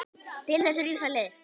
Til þess eru ýmsar leiðir.